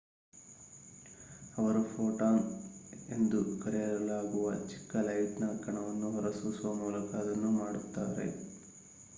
"ಅವರು "ಫೋಟಾನ್" ಎಂದು ಕರೆಯಲಾಗುವ ಚಿಕ್ಕ ಲೈಟ್‌ನ ಕಣವನ್ನು ಹೊರಸೂಸುವ ಮೂಲಕ ಅದನ್ನು ಮಾಡುತ್ತಾರೆ.